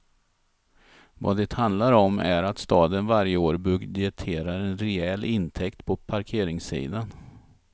Vad det handlar om är att staden varje år budgeterar en rejäl intäkt på parkeringssidan.